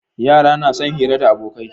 Yara na son hira da abokai